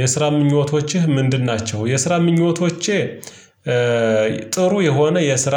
የስራ ምኞቶችህ ምንድን ናቸው? የስራ ምኞቶቼ። ጥሩ የሆነ የስራ